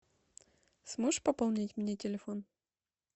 сможешь пополнить мне телефон